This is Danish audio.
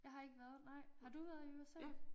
Jeg har ikke været nej har du været i USA?